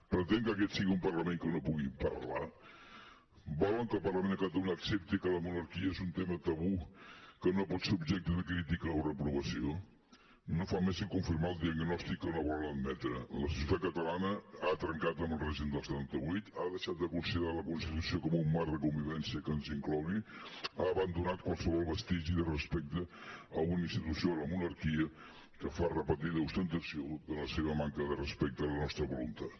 pretén que aquest sigui un parlament que no pugui parlar volen que el parlament de catalunya accepti que la monarquia és un tema tabú que no pot ser objecte de crítica o reprovació no fa més que confirmar el diagnòstic que no volen admetre la societat catalana ha trencat amb el règim del setanta vuit ha deixat de considerar la constitució com un marc de convivència que ens inclogui ha abandonat qualsevol vestigi de respecte a una institució la monarquia que fa repetida ostentació de la seva manca de respecte a la nostra voluntat